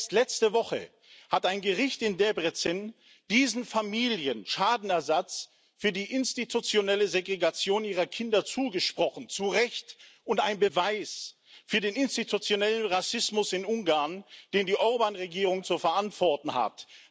Erst letzte Woche hat ein Gericht in Debrecen diesen Familien Schadenersatz für die institutionelle Segregation ihrer Kinder zugesprochen zu Recht und ein Beweis für den institutionellen Rassismus in Ungarn, den die Orbán Regierung zu verantworten hat.